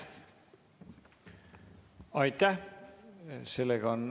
Aitäh!